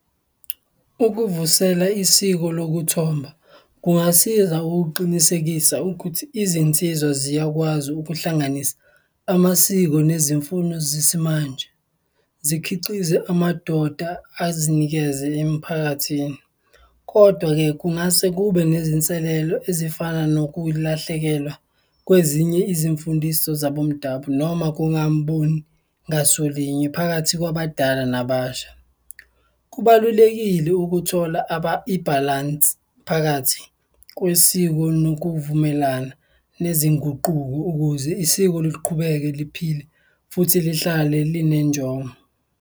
Ukuvusela isiko lokuthomba kungasiza ukuqinisekisa ukuthi izinsizwa ziyakwazi ukuhlanganisa amasiko nezimfuno zesimanje, zikhiqize amadoda, azinikeze emiphakathini. Kodwa-ke, kungase kube nezinselelo ezifana nokulahlekelwa kwezinye izimfundiso zabomdabu noma kungamboni ngasolinye phakathi kwabadala nabasha. Kubalulekile ukuthola ibhalansi phakathi kwesiko nokuvumelana nezinguquko ukuze isiko luqhubeke liphile futhi lihlale linenjongo.